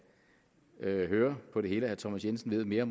kan høre på det hele at herre thomas jensen ved mere